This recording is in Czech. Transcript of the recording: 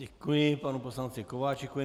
Děkuji panu poslanci Kováčikovi.